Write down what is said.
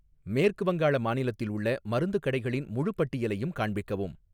மேற்கு வங்காள மாநிலத்தில் உள்ள மருந்து கடைகளின் முழுப் பட்டியலையும் காண்பிக்கவும்